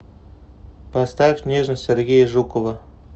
поставь нежность сергея жукова